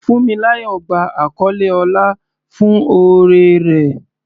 Funmilayo gba àkọlé ọlá fún oore rẹ̀.